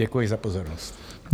Děkuji za pozornost.